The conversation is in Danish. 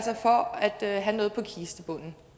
det at have noget på kistebunden